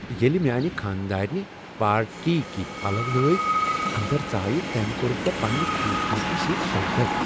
ییٚلہ میانہ خاندارنہِ پارٹی کتھۍ پلو لٲگۍ تہٕ انٛدر ژایہ، تٔمۍ کوٚرُس بہ پنٛنہ خوٗبصورتی سۭتۍ ششدر۔